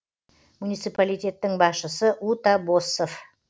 муниципалитеттің басшысы ута боссов